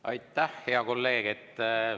Aitäh, hea kolleeg!